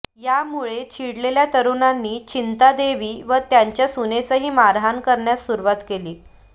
यामुळे चिडलेल्या तरुणांनी चिंता देवी व त्यांच्या सुनेसही मारहाण करण्यास सुरूवात केली